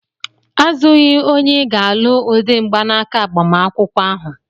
Azụghị onye ị ga-alụ ụdị mgbanaka agbamakwụkwọ ahụ!